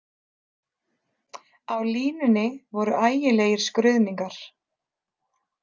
Á línunni voru ægilegir skruðningar.